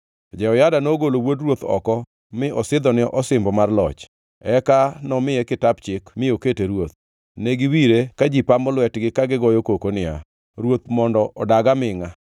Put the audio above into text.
Jehoyada nogolo wuod ruoth oko mi osidhone osimbo mar loch; eka nomiye kitap chik mi okete ruoth. Ne giwire ka ji pamo lwetgi ka gigoyo koko niya, “Ruoth mondo odag amingʼa!”